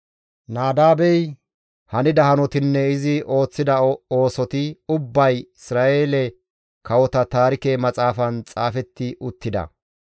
Nadaabey hanida hanotatinne izi ooththida oosoti ubbay Isra7eele kawota taarike maxaafan xaafetti uttida.